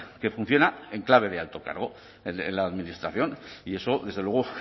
que funciona en clave de alto cargo en la administración y eso desde luego